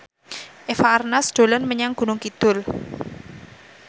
Eva Arnaz dolan menyang Gunung Kidul